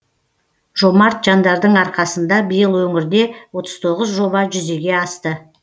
жомарт жандардың арқасында биыл өңірде отыз тоғыз жоба жүзеге асты